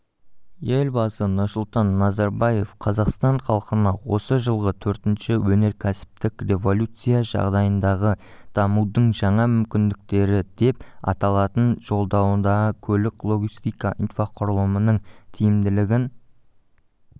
елбасы нұрсұлтан назарбаевқазақстан халқына осы жылғы төртінші өнеркәсіптік революция жағдайындағы дамудың жаңа мүмкіндіктері деп аталатын жолдауындакөлік-логистика инфрақұрылымының тиімділігін